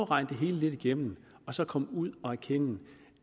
regne det hele lidt igennem og så komme ud og erkende